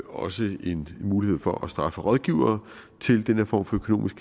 også en mulighed for at straffe rådgivere til den her form for økonomisk